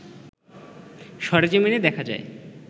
সরজমিনে দেখা যায়